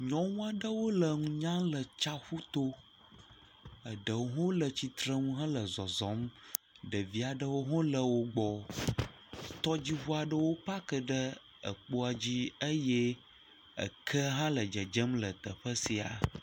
Nyɔnu aɖewo le nu nyam le tsaƒu to eɖewo hã le tsitrenu hele zɔzɔ. Ɖevi aɖwo hã le wo gbɔ. Tɔdziŋu aɖewo paki ɖe ekpoa dzi eye eke hã le dzedzem le teƒe sia.